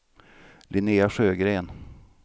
Linnéa Sjögren